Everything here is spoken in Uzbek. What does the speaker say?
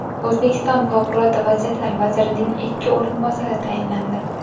O‘zbekiston favqulodda vaziyatlar vazirining ikki o‘rinbosari tayinlandi.